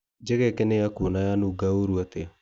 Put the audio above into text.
Njegeke nĩ yaku ona yanuga wũru atia.